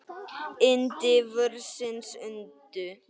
Yndi vorsins undu.